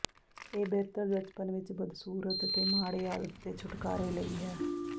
ਇਹ ਬਿਹਤਰ ਬਚਪਨ ਵਿਚ ਬਦਸੂਰਤ ਅਤੇ ਮਾੜੇ ਆਦਤ ਦੇ ਛੁਟਕਾਰੇ ਲਈ ਹੈ